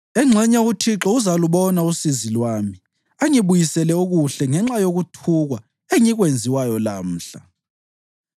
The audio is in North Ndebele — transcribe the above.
Engxenye uThixo uzalubona usizi lwami angibuyisele okuhle ngenxa yokuthukwa engikwenziwayo lamhla.”